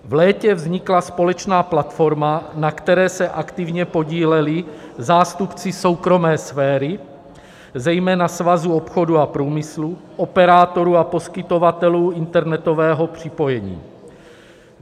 V létě vznikla společná platforma, na které se aktivně podíleli zástupci soukromé sféry, zejména svazu obchodu a průmyslu (?), operátorů a poskytovatelů internetového připojení.